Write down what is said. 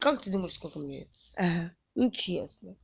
как ты думаешь сколько мне ага ну честно